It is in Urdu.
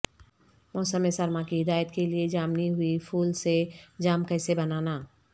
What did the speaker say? موسم سرما کی ہدایت کے لئے جامنی ہوئی پھول سے جام کیسے بنانا